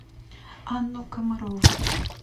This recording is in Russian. анну комарову